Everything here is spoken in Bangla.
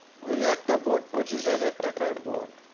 ওই একটা board পঁচিশ হাজার টাকার board